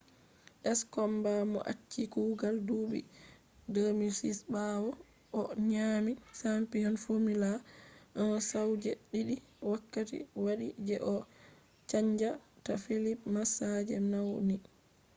skomba mo achi kugal duɓi 2006 ɓawo o nyaami champiyon fomula 1 sau je ɗiɗi wakkati waɗi je o chanja ta felipe masaa je nauni